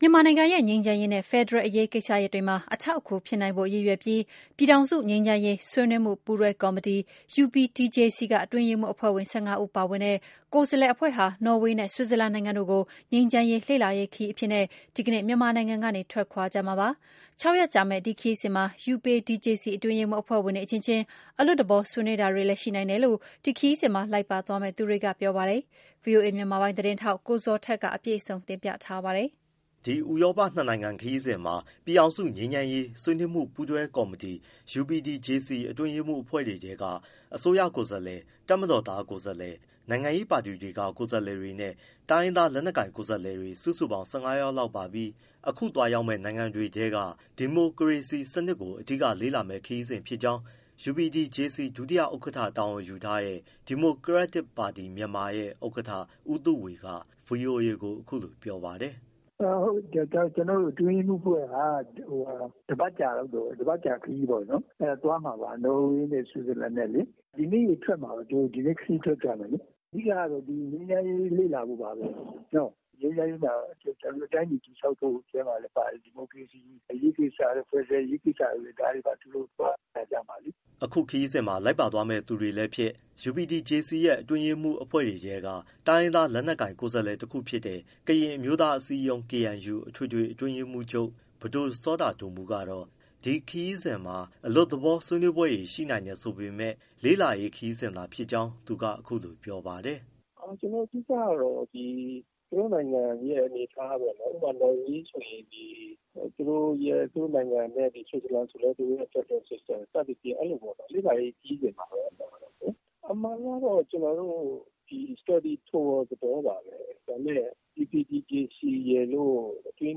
မြန်မာနိုင်ငံရဲ့ ငြိမ်းချမ်းရေးနဲ့ ဖက်ဒရယ်အရေးကိစ္စတွေမှာ အထောက်အကူဖြစ်နိုင်ဖို့ရည်ရွယ်ပြီး ပြည်ထောင်စု ငြိမ်းချမ်းရေး ဆွေးနွေးမှုပူးပွဲကော်မတီ UPDJC က အတွင်းရေးမှူးအဖွဲ့ဝင် ၁၅ ဦး ပါဝင်တဲ့ ကိုယ်စားလှယ် အဖွဲ့ဟာ နော်ဝေနဲ့ ဆွစ်ဇာလန်နိုင်ငံတို့ကို ငြိမ်းချမ်းရေး လေ့လာရေးခရီးအဖြစ် ဒီကနေ့ မြန်မာနိုင်ငံကနေ ထွက်ခွာကြမှာပါ။ ၆ရက်ကြာမယ့် ဒီခရီးစဉ်မှာ UPDJC အတွင်းရေးမှူး အဖွဲ့ဝင်တွေအချင်ချင်း အလွတ်သဘော ဆွေးနွေးတာတွေလည်း ရှိနိုင်တယ်လို့ ဒီခရီးစဉ်မှာ လိုက်ပါသွားမယ့်သူတွေက ပြောပါတယ်။ ဗွီအိုအေ မြန်မာပိုင်းသတင်းထောက် ကိုဇော်ထက် မေးမြန်းပေးပို့ထားပါတယ်။ ဒီ ဥရောပနှစ်နိုင်ငံခရီးစဉ်မှာ ပြည်ထောင်စုငြိမ်းချမ်းရေး ဆွေးနွေးမှုပူးတွဲကော်မတီ UPDJC အတွင်းရေးမှူးအဖွဲ့တွေထဲက အစိုးရကိုယ်စားလှယ်၊ တပ်မတော်သား ကိုယ်စားလှယ်၊ နိုင်ငံရေးပါတီတွေက ကိုယ်စားလှယ်တွေနဲ့ တိုင်းရင်းသားလက်နက်ကိုင် ကိုယ်စားလှယ်တွေ စုစုပေါင်း ၁၅ယောက်ပါပြီး အခုသွားရောက်မယ့် နိုင်ငံတွေက ဒီမိုကရေစီစနစ်ကို အဓိကလေ့လာမယ့် ခရီးစဉ်ဖြစ်ကြောင်း UPDJC ဒုဥက္ကဋ္ဌတာဝန်ယူထားတဲ့ ဒီမိုကရက်တစ်ပါတီ(မြန်မာ) ဥက္ကဋ္ဌ ဦးသုဝေက ဗွီအိုအေကို အခုလို ပြောပါတယ်။ “ဟုတ်တယ်ကျနော်တို့ အတွင်းရေးမှူးအဖွဲ့က တပတ်ကြာခရီးပေါ့နော် သွားမှာပါ။ နော်ဝေနဲ့ ဆွစ်ဇာလန်နဲ့လေ ဒီနေ့ခရီးထွက်ကြမှာ။ အဓိကတော့ ငြိမ်းချမ်းရေးလေ့လာဖို့ပါပဲ၊ ငြိမ်းချမ်းရေးမှာ တိုင်းပြည်တည်ဆောက်ဖို့ ထဲမှာလည်းပါတယ်။ ဒီမိုကရေစီအရေးကိစ္စတို့၊ ဖက်ဒရယ် အရေးကိစ္စတို့ ဒါတွေပါ သူတို့ သွားလေ့လာကြမှာလေ။” အခု ခရီးစဉ်မှာ လိုက်ပါသွားမယ့်သူလည်းဖြစ်၊ UPDJC အတွင်းရေးမှူးအဖွဲ့တွေထဲက တိုင်းရင်းသား လက်နက်ကိုင် ကိုယ်စားလှယ်တခုဖြစ်တဲ့ ကရင်အမျိုးသားအစည်းအရုံး KNU အထွေထွေ အတွင်းရေးမှူးချုပ် ပဒိုစောတာဒိုမူးကတော့ ဒီခရီးစဉ်မှာ အလွတ်သဘော ဆွေးနွေးပွဲ ရှိနိုင်တယ်ဆိုပေမဲ့ လေ့လာရေးခရီးစဉ်သာ ဖြစ်ကြောင်း သူက အခုလိုပြောပါတယ်။ “အဓိကတော့ ကျနော်တို့နိုင်ငံရဲ့ အနေအထားပေါ့နော်။ ဥပမာ နော်ဝေဆိုရင် သူတို့နိုင်ငံရဲ့ ဥပမာ ဆွစ်ဇာလန်ဆိုရင်လည်း သူတို့ရဲ့ ဖက်ဒရယ် System စသဖြင့် လေ့လာရေး ခရီးစဉ်ပါပဲ အမှန်အားဖြင့်ပေါ့လေ။ အမှန်ကတော့ကျနော်တို့ Study tour သဘောပါပဲ။ ဒါပေမဲ့ UPDJC ရယ်လို့ အတွင်းရေး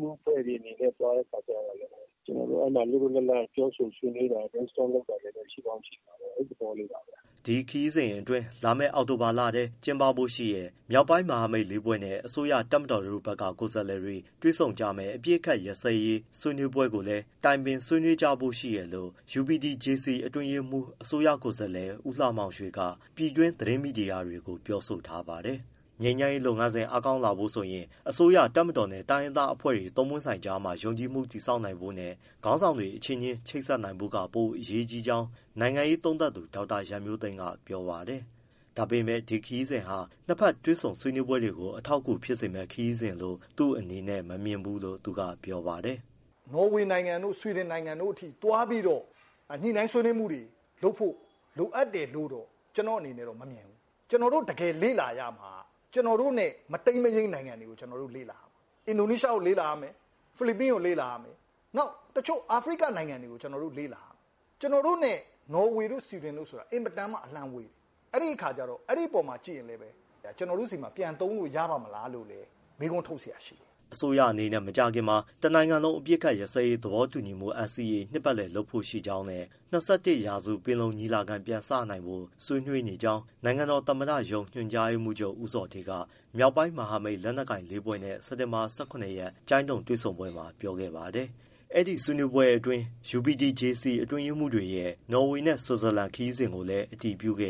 မှူး အဖွဲ့တွေအနေနဲ့ သွားတဲ့အခါကျတော့လည်း ကျနော်တို့ အဲဒီမှာ လွတ်လွတ်လပ်လပ် ပြောဆိုဆွေးနွေးတာ Brainstorm လုပ်တာလည်း ရှိကောင်း ရှိမှာပေါ့။ အဲဒီသဘောလေးပါပဲ။” ဒီခရီးစဉ်အတွင်း လာမယ့် အောက်တိုဘာလအတွင်း ကျင်းပဖို့ရှိနေတဲ့ မြောက်ပိုင်းမဟာမိတ်လေးဖွဲ့နဲ့ အစိုးရ၊ တပ်မတော်တို့ဘက်က ကိုယ်စားလှယ်တွေ တွေ့ဆုံကြမယ့် အပစ်အခတ်ရပ်စဲရေး ဆွေးနွေးပွဲကိစ္စကိုလည်း တိုင်ပင်၊ ဆွေးနွေးကြဖို့ရှိတယ်လို့ UPDJC အတွင်းရေးမှူး၊ အစိုးရကိုယ်စားလှယ် ဦးလှမောင်ရွှေက ပြည်တွင်း သတင်းမီဒီယာတွေကို ပြောဆိုထားပါတယ်။ ငြိမ်းချမ်းရေးလုပ်ငန်းစဉ် အားကောင်းလာဖို့ဆိုရင် အစိုးရ၊ တပ်မတော်နဲ့ တိုင်းရင်းသားအဖွဲ့တွေ သုံးပွင့်ဆိုင်ကြားမှာ ယုံကြည်မှုတည်ဆောက်နိုင်ဖို့နဲ့ ခေါင်းဆောင်တွေအချင်းချင်း ချိတ်ဆက်နိုင်ဖို့က ပိုအရေးကြီးကြောင်း နိုင်ငံရေးသုံးသပ်သူ ဒေါက်တာရန်မျိုးသိမ်းက ပြောပါတယ်။ ဒါပေမယ့် ဒီခရီးစဉ်ဟာ နှစ်ဘက် တွေ့ဆုံဆွေးနွေးရေးကို အထောက်အကူပြုစေမယ့် ခရီးစဉ်လို့ သူ့အနေနဲ့ မမြင်ဘူးလို့ သူက ပြောပါတယ်။ “နော်ဝေနိုင်ငံတို့ ဆွီဒင်နိုင်ငံတို့ထိသွားပြီးတော့ ညှိနှိုင်းဆွေးနွေးမှုတွေလုပ်ဖို့ လိုအပ်တယ်လို့ ကျနော့အနေနဲ့ မမြင်ဘူး။ ကျနော်တို့တကယ် လေ့လာရမှာက ကျနော်တို့နဲ့ မတိမ်းမယိမ်းနိုင်ငံတွေကို လေ့လာရမယ်။ အင်ဒိုနီးရှားကို လေ့လာရမယ်၊ ဖိလစ်ပိုင်ကို လေ့လာရမယ်၊ နောက်တချို့ အာဖရိက နိုင်ငံတွေကို လေ့လာရမယ်။ ကျနော်တို့နဲ့ နော်ဝေတို့ ဆွီဒင်တို့ဆိုတာ အင်မတန်မှ အလှမ်းဝေးတယ်။ အဲဒီအခါ အဲဒီအပေါ်မှာကြည့်ရင်လည်း ကျနော်တို့ ဆီမှာ ပြန်သုံးလို့ရပါ့မလားလို့လည်း မေးခွန်းထုတ်စရာရှိတယ်။” အစိုးရအနေနဲ့ မကြာခင်မှာ တနိုင်ငံလုံး အပစ်အခတ်ရပ်စပ်ရေး သဘောတူညီမှု NCA နှစ်ပတ်လည်လုပ်ဖို့ရှိကြောင်းနဲ့ ၂၁ရာစု ပင်လုံညီလာခံ ပြန်စနိုင်ဖို့ ဆွေးနွေးနေကြောင်း နိုင်ငံတော်သမ္မတရုံး ညွှန်ကြားရေးမှူးချုပ် ဦးဇော်ဌေးက မြောက်ပိုင်းမဟာမိတ် လက်နက်ကိုင်လေးဖွဲ့နဲ့ စက်တင်ဘာ ၁၇ရက် ကျိုင်းတုံ တွေ့ဆုံပွဲမှာ ပြောခဲ့ပါတယ်။ အဲဒီ ဆွေးနွေးပွဲအတွင်း UPDJC အတွင်းရေးမှူးတွေရဲ့ နော်ဝေနဲ့ ဆွစ်ဇာလန် ခရီးစဉ်ကို အတည်ပြုခဲ့